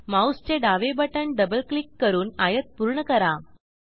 माऊसचे डावे बटण डबल क्लिक करून आयत पूर्ण करा